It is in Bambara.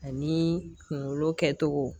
Ani kunkolo kɛcogo